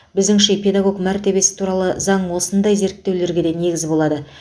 біздіңше педагог мәртебесі туралы заң осындай зерттеулерге де негіз болады